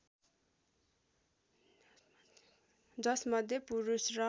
जसमध्ये पुरुष र